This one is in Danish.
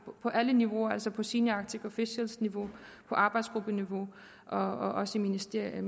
på alle niveauer altså på senior arctic officials niveau på arbejdsgruppeniveau og også i ministerielle